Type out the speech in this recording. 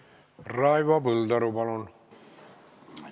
Raivo Põldaru, palun!